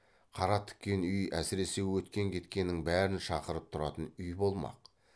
қара тіккен үй әсіресе өткен кеткеннің бәрін шақырып тұратын үй болмақ